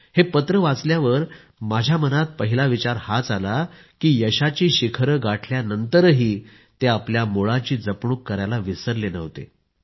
हे पत्र वाचल्यावर माझ्या मनात पहिला विचार हाच आला की यशाची शिखरे गाठल्यानंतरही ते आपल्या मूळाची जपणूक करायला विसरले नव्हते